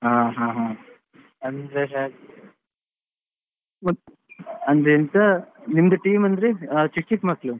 ಹಾ ಹಾ ಮತ್ ಅಂದ್ರೆ ಎಂತ ನಿಮ್ದು team ಅಂದ್ರೆ ಚಿಕ್ ಚಿಕ್ ಮಕ್ಕಳು.